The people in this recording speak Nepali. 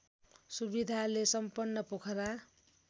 सुविधाले सम्पन्न पोखरा